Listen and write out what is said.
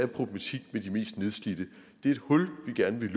problematik med de mest nedslidte det er et hul vi gerne vil